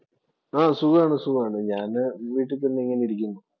ആ സുഖാണ്. സുഖാണ്. ഞാന് വീട്ടില്‍ തന്നെ ഇങ്ങനെ ഇരിക്കുന്നു